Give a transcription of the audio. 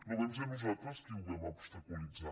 no vam ser nosaltres qui ho vam obstaculitzar